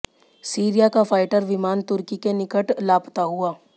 Syria का fighter विमान तुर्की के निकट लापता हुआ